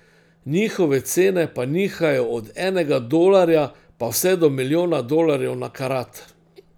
Njihove cene pa nihajo od enega dolarja pa vse do milijona dolarjev na karat.